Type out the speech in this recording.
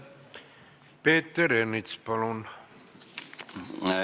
Peeter Ernits, palun!